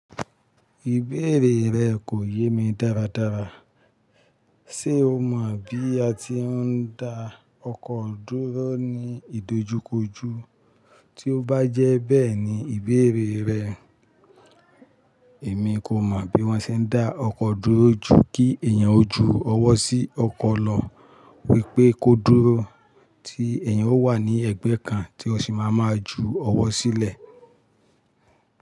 Ìbéèrè rẹ kò yé mi dáradára. Ṣé o mọ̀ bí a ti ń dá ọkọ dúró ní ìdojúkojú? Tí ó bá jẹ́ bẹ́ẹ̀ ní ìbéèrè rẹ, èmi kò mọ̀ bí wọ́n ṣe ń dá ọkọ dúró ju kí èèyàn ó ju ọwọ́ sí ọkọ lọ wípé kó dúró tí èèyàn ó wà ní ẹ̀gbẹ́ kan tí ó sì máa ma ju ọwọ́ sílẹ̀